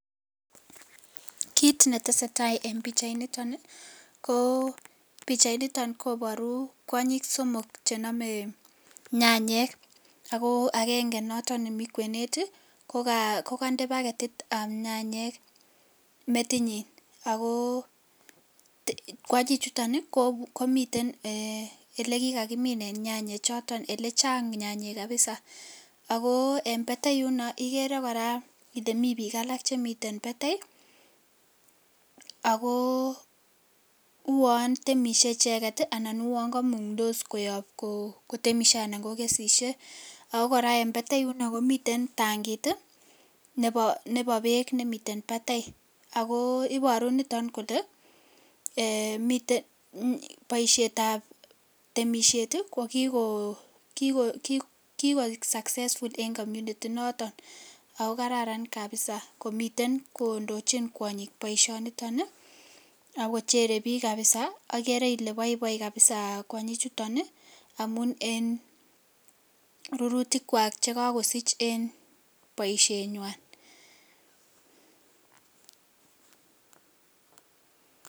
Kit netesetai en pichait niton ih ko pichait niton koboru kwonyik somok chenome nyanyek ako agenge noton nemii kwenet ih kokonde baketitab nyanyek metinyin ako kwonyichuton ih komiten elekikakiminen nyanyek choton elechang nyanyek kabisa ako en batai yuno ikere kora ile mii biik alak chemiten batai ako uon temisie icheket ih anan uon komungtos icheket koyobu kotemisie anan kokesisie ako kora en batai yuno komiten tankit nebo beek nemiten batai ako iboru niton kole boisietab temisiet ih kokikoik successful en community inoton ako kararan kabisa komiten kondochin kwonyik boisioniton ih akochere biik kabisa okere ile boiboi kabisa kwonyik chuton ih amun en rurutik kwak chekakosich en boishet nywan